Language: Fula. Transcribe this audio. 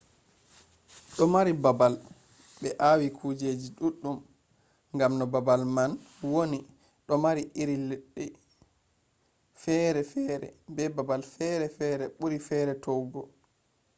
do mari babal be awi kujeji duddum gam no babal man woni do mari iri leddi fere fere be babal fere buri fere towugo